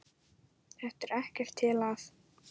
Þetta er ekkert til að.